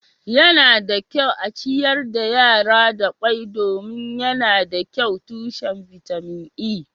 yana da kyau a ciyar da yara da kwai domin yana da kyau tushen bitamin E